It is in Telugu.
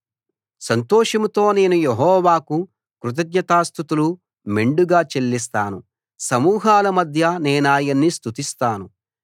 సంతోషంతో నేను యెహోవాకు కృతజ్ఞతాస్తుతులు మెండుగా చెల్లిస్తాను సమూహాల మధ్య నేనాయన్ని స్తుతిస్తాను